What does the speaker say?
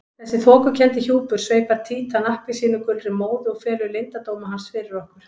Þessi þokukenndi hjúpur sveipar Títan appelsínugulri móðu og felur leyndardóma hans fyrir okkur.